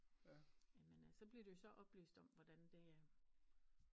Jamen så bliver de jo så oplyst om hvordan det